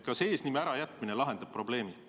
Kas eesnime ärajätmine lahendab probleemi?